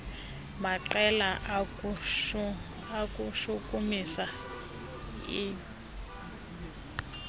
maqela kukushukumisa iingo